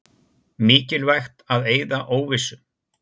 Mikilvægt að eyða óvissu